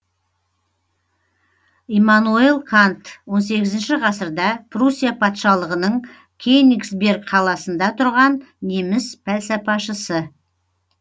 иммануел кант он сегізінші ғасырда пруссия патшалығының кенигсберг қаласында тұрған неміс пәлсапашысы